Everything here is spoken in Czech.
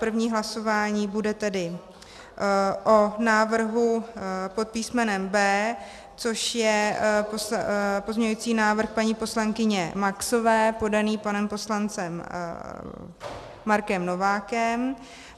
První hlasování bude tedy o návrhu pod písmenem B, což je pozměňovací návrh paní poslankyně Maxové podaný panem poslancem Markem Novákem.